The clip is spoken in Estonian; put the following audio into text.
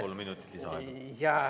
Kolm minutit lisaaega.